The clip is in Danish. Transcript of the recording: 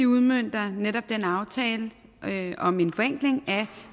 udmønter netop den aftale om en forenkling af